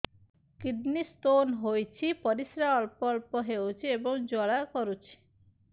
kidney stone ହୋଇଛି ପରିସ୍ରା ଅଳ୍ପ ଅଳ୍ପ ହେଉଛି ଏବଂ ଜ୍ୱାଳା କରୁଛି